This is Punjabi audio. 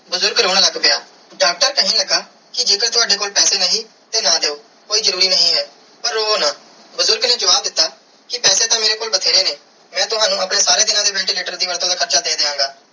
ਬੁਜ਼ਰਗ ਰੋਂ ਲੱਗ ਪਿਆ ਡਾਕਟਰ ਕੇਹਨ ਲਗਾ ਕੇ ਜੇ ਕਰ ਤਾਵਦੇ ਕੋਲ ਪੈਸੇ ਨਹੀਂ ਤੇ ਨਾ ਦਿਯੋ ਕੋਈ ਜਰੂਰੀ ਨਾਈ ਹੈ ਪਾਰ ਰੋਵੋ ਨਾ ਬੁਜ਼ਰਗ ਨੇ ਜਵਾਬ ਦਿੱਤਾ ਕੇ ਪੈਸੇ ਤੇ ਮੇਰੇ ਕੋਲ ਬੈਤੇਰੇ ਨੇ ਮੈਂ ਤਵਣੁ ਆਪਣੇ ਸਾਰੇ ਦੀਨਾ ਦੇ ventilator ਦੇ ਵੱਧ ਤੂੰ ਵੱਧ ਹਾਰਚਾ ਦੇ ਦੀਆ ਗਏ.